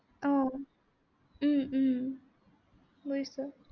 আহ উম উম বুজিছো।